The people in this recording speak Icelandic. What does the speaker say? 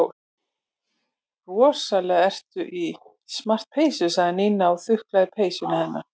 Rosalega ertu í smart peysu sagði Nína og þuklaði peysuna hennar.